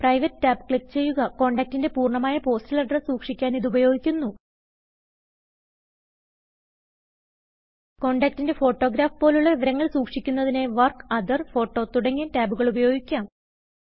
private tab click ചെയ്യുകകോണ്ടാക്റ്റിന്റെ പൂർണമായ postal address സുക്ഷിക്കാൻ ഇത് ഉപയോഗിക്കുന്നു കോണ്ടാക്റ്റിന്റെ ഫൊറ്റൊഗ്രഫ് പോലുള്ള വിവരങ്ങൾ സുക്ഷിക്കുന്നതിനായി വർക്ക് ഓത്തർ ഫോട്ടോ തുടങ്ങയ ടാബുകൾ ഉപയോഗിക്കാം